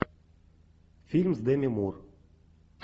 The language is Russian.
фильм с деми мур